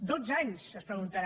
dotze anys es deuen preguntar